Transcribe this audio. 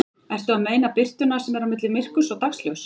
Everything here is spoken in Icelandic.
Ertu að meina birtuna sem er á milli myrkurs og dagsljóss?